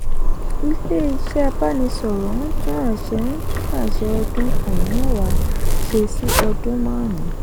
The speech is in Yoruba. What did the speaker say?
ilé-iṣẹ́ ìbánisọ̀rọ̀ ń tún àṣẹ ń tún àṣẹ ọdún um mẹ́wa ṣe sí ọdún márun.